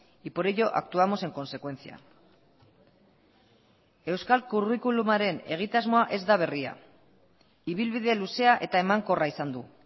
y por ello actuamos en consecuencia euskal curriculumaren egitasmoa ez da berria ibilbide luzea eta emankorra izan du